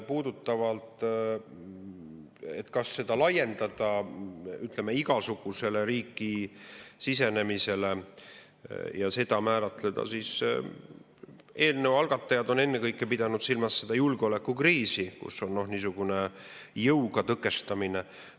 Nüüd, kas seda laiendada igasugusele riiki sisenemisele ja seda nii määratleda, siis eelnõu algatajad on ennekõike pidanud silmas julgeolekukriisi, kus jõuga tõkestamisega.